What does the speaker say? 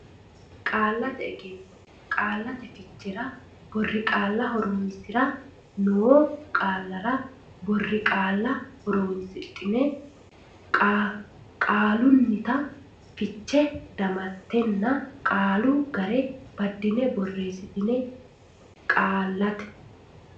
Qaallate Egenno Qaallate Fichera Borqaalla Horonsi ra noo qaallara boriqaalla horonsidhine qaalunnita fiche damattenna qaalu ga re baddine borreesse Qaallate.